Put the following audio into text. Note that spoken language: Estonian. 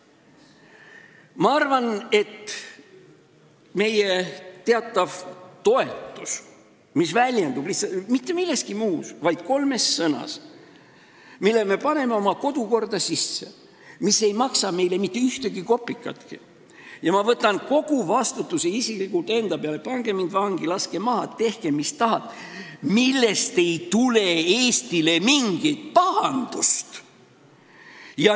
Ma arvan, et sellest meie teatavast toetusest, mis ei väljendugi mitte milleski muus kui kolmes sõnas, mille me paneme oma kodukorda sisse, mis ei maksa meile mitte ühtegi kopikatki ja ma võtan kogu vastutuse isiklikult enda peale – pange mind vangi, laske maha, tehke mis tahate –, ei tule Eestile mingit pahandust.